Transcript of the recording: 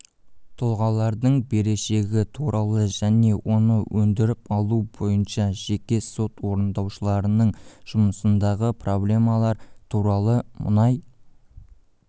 тұлғалардың берешегі туралы және оны өндіріп алу бойынша жеке сот орындаушыларының жұмысындағы проблемалар туралы мұнай